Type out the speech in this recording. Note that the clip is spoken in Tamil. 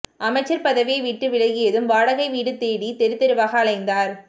அமைச்சர் பதவியை விட்டு விலகியதும் வாடகை வீடு தேடி தெருத்தெருவாக அலைந்தார்